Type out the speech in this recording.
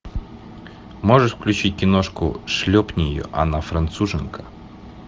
можешь включить киношку шлепни ее она француженка